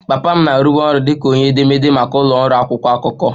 Papa m na-arụbu ọrụ dị ka onye edemede maka ụlọ ọrụ akwụkwọ akụkọ